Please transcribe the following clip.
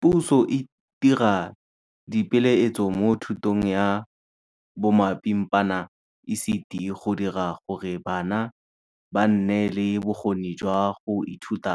Puso e dira dipeeletso mo thutong ya bomapimpana, ECD, go dira gore bana ba nne le bokgoni jwa go ithuta